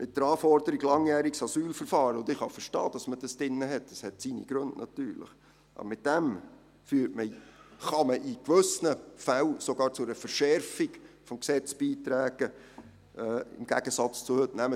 Mit der Anforderung eines langjährigen Asylverfahrens, die ich durchaus verstehen kann und die ihre Gründe hat, kann man in gewissen Fällen sogar zu einer Verschärfung des Gesetzes beitragen, im Gegensatz zu heute.